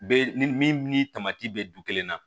Be ni min ni tamati bɛ du kelen na